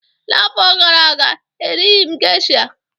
N'afọ gara aga, erighị m geisha